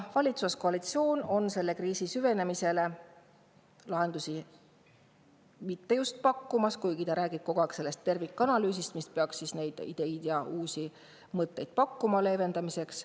Valitsuskoalitsioon kriisi süvenemisele lahendusi pakkuvat, kuigi ta räägib kogu aeg sellest tervikanalüüsist, mis peaks pakkuma ideid ja uusi mõtteid selle leevendamiseks.